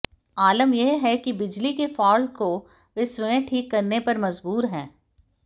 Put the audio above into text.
आलम यह है कि बिजली के फाल्ट को वे स्वयं ठीक करने पर मजबूर हैं